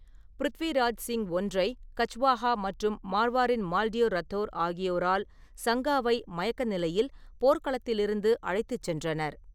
பிருத்விராஜ் சிங் ஒன்றை கச்வாஹா மற்றும் மார்வாரின் மால்டியோ ரத்தோர் ஆகியோரால் சங்காவை மயக்க நிலையில் போர்க்களத்திலிருந்து அழைத்துச் சென்றனர்.